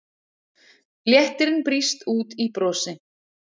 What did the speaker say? Léttirinn brýst út í brosi.